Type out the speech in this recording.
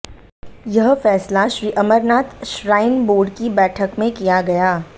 यह फैसला Shri Amarnath shrine board की बैठक में किया गया